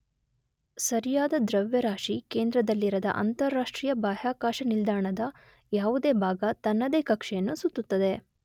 ಸರಿಯಾದ ದ್ರವ್ಯರಾಶಿ ಕೇಂದ್ರದಲ್ಲಿರದ ಅಂತರರಾಷ್ಟ್ರೀಯ ಬಾಹ್ಯಾಕಾಶ ನಿಲ್ದಾಣದ ನ ಯಾವುದೇ ಭಾಗ ತನ್ನದೇ ಕಕ್ಷೆಯನ್ನು ಸುತ್ತುತ್ತದೆ.